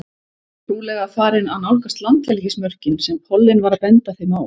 Trúlega farin að nálgast landhelgismörkin sem pollinn var að benda þeim á.